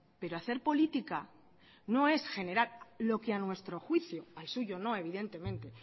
pero hacer política no es generar lo que a nuestro juicio al suyo no evidentemente